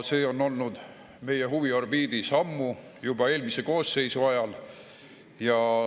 See on olnud meie huviorbiidis ammu, juba eelmise koosseisu ajal.